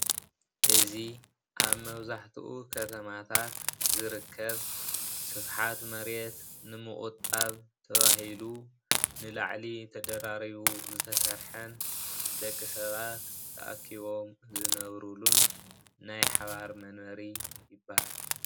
እዚ ኣብ መብዝሕትኡ ከተማታት ዝርከብ ስፍሓት መሬት ንምቑጣብ ተባሂሉ ንላዕሊ ተደራሪቡ ዝተሰርሐን ደቂ ሰባት ተኣኪቦም ዝነብሩን ናይ ሓባር መንበሪ ይባሃል፡፡